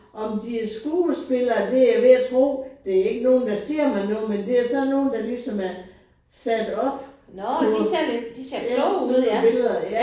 Om de er skuespillere det er jeg ved at tro. Det er ikke nogen der siger mig noget men det er sådan nogen der ligesom er sat op på på billeder ja